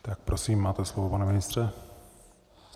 Tak prosím, máte slovo, pane ministře.